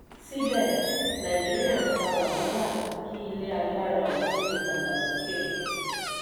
síbẹ̀ nàìjíríà ń fa wàhálà kí ilé agbára otun lè dàgbà sókè.